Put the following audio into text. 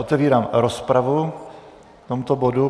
Otevírám rozpravu k tomuto bodu.